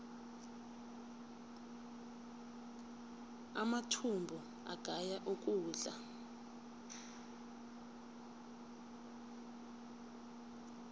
amathumbu agaya ukudla